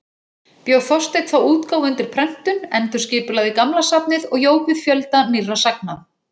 Bjó Þorsteinn þá útgáfu undir prentun, endurskipulagði gamla safnið og jók við fjölda nýrra sagna.